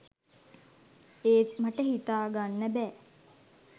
ඒත් මට හිතාගන්න බෑ